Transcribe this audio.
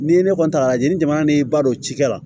Ni ne kɔni ta y'a lajɛ ni jamana n'i ba don ci kɛ la